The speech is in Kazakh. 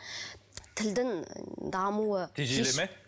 тілдің дамуы тежеледі ме